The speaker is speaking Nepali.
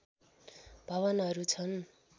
भवनहरू छन्